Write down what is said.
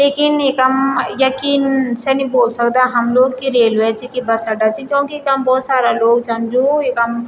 यकीन नि कम यकीन से नी बोल सकदा हम लोग की रेलवे च की बस अड्डा च क्योंकि यखम बहौत सारा लोग छन जू इखम --